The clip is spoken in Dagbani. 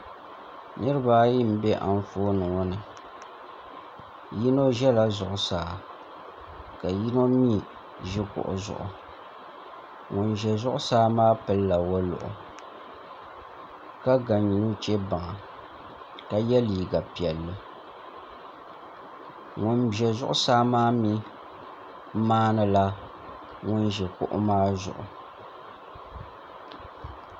Niraba ayi n bɛ Anfooni ŋo ni yino ʒɛla zuɣusaa ka yino mii ʒi kuɣu zuɣu ŋun ʒɛ zuɣusaa maa pilila woliɣi ka ga nuchɛ baŋa ka yɛ liiga piɛlli ŋun ʒɛ zuɣusaa maa mii maandila ŋun ʒi kuɣu maa zuɣu